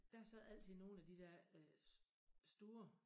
Der sad altid nogen af de dér øh store